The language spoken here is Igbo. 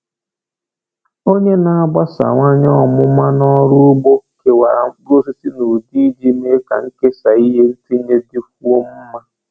Onye na-agbasawanye ọmụma n’ọrụ ugbo kewara mkpụrụosisi n’ụdị iji mee ka nkesa ihe ntinye dịkwuo mma.